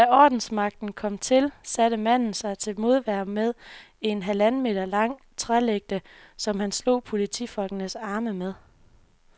Da ordensmagten kom til, satte manden sig til modværge med en halvanden meter lang trælægte, som han slog politifolkenes arme med.